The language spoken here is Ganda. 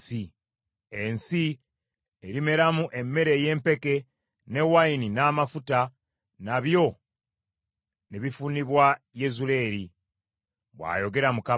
ensi erimeramu emmere ey’empeke, ne wayini n’amafuta, nabyo ne bifunibwa Yezuleeri, ” bw’ayogera Mukama .